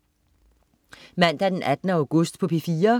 Mandag den 18. august - P4: